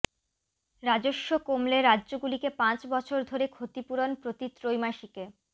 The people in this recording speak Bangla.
রাজস্ব কমলে রাজ্যগুলিকে পাঁচ বছর ধরে ক্ষতিপূরণ প্রতি ত্রৈমাসিকে